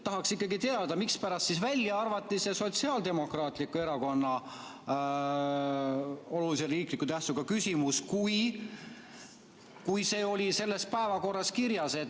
Tahaks ikkagi teada, mispärast siis arvati välja see Sotsiaaldemokraatliku Erakonna algatatud olulise riikliku tähtsusega küsimus, kui see oli selles päevakorras kirjas.